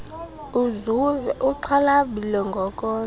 uzuve uxhalabile ngokondla